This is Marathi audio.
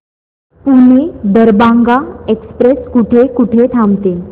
पुणे दरभांगा एक्स्प्रेस कुठे कुठे थांबते